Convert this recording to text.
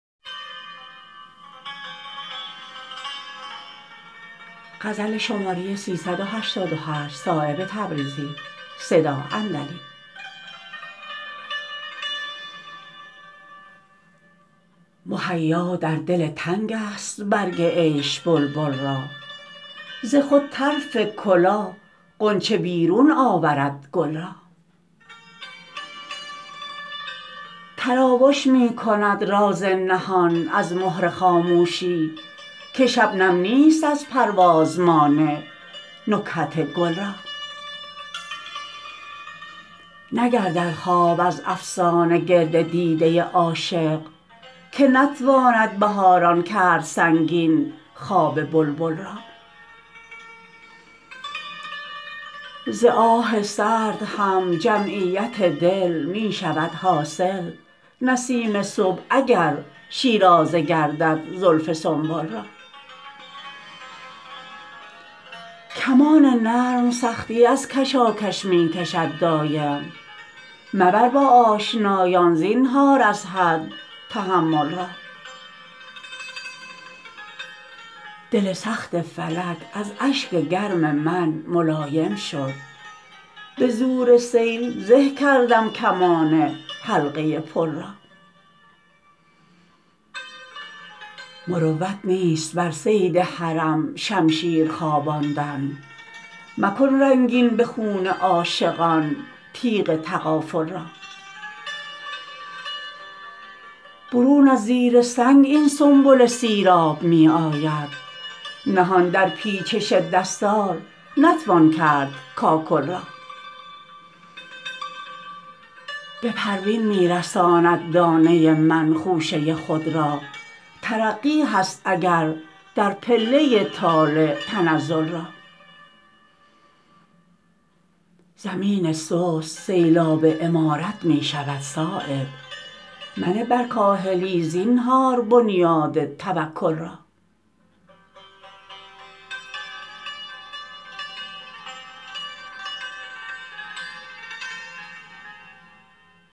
مهیا در دل تنگ است برگ عیش بلبل را ز خود طرف کلاه غنچه بیرون آورد گل را تراوش می کند راز نهان از مهر خاموشی که شبنم نیست از پرواز مانع نکهت گل را نگردد خواب از افسانه گرد دیده عاشق که نتواند بهاران کرد سنگین خواب بلبل را ز آه سرد هم جمعیت دل می شود حاصل نسیم صبح اگر شیرازه گردد زلف سنبل را کمان نرم سختی از کشاکش می کشد دایم مبر با آشنایان زینهار از حد تحمل را دل سخت فلک از اشک گرم من ملایم شد به زور سیل زه کردم کمان حلقه پل را مروت نیست بر صید حرم شمشیر خواباندن مکن رنگین به خون عاشقان تیغ تغافل را برون از زیر سنگ این سنبل سیراب می آید نهان در پیچش دستار نتوان کرد کاکل را به پروین می رساند دانه من خوشه خود را ترقی هست اگر در پله طالع تنزل را زمین سست سیلاب عمارت می شود صایب منه بر کاهلی زنهار بنیاد توکل را